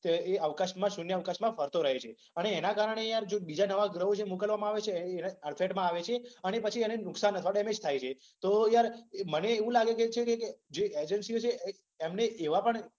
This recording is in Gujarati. એ અવકાશમાં શુન્યઅવકાશમાં ફરતો રહે છે. અને એના કારણે યાર જે બીજા નવા જે ગ્રહો મોકલવામાં આવે છે એના અડફેટમાં આવે છે અને પછી એને નુકસાન અથવા ડેમેજ થાય છે. તો એમાં યાર મને એવુ લાગે છે કે જે એજન્સીઓ જે છે એમને એવા પણ